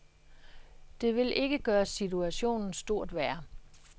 Det vil ikke gøre situationen stort værre.